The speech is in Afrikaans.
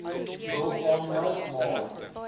wil aanmeld maar